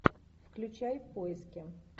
включай в поиске